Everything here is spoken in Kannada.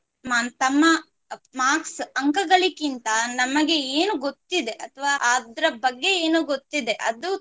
marks ಅಂಕಗಳಿಕ್ಕಿಂತ ನಮಗೆ ಏನು ಗೊತ್ತಿದೆ ಅಥವಾ ಅದ್ರ ಬಗ್ಗೆ ಏನು ಗೊತ್ತಿದೆ ಅದು